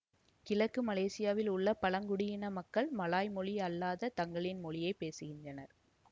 கிழக்கு மலேசியாவில் உள்ள பழங்குடியின மக்கள் மலாய் மொழி அல்லாத தங்களின் மொழியை பேசுகின்றனர்